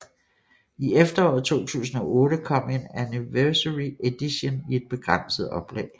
I efteråret 2008 kom en anniversary edition i et begrænset oplag